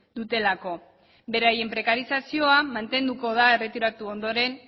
dutelako beraien prekarizazioa mantenduko da erretiratu ondoren